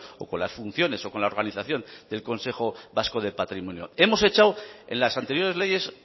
o con las funciones o con la organización del consejo vasco de patrimonio hemos echado en las anteriores leyes